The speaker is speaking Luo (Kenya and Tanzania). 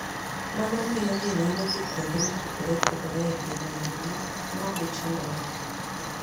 Mano miyo ji nyalo dhi kuonde mopogore opogore e piny mangima ma ok gichandore.